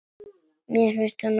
Mér finnst hún ágæt.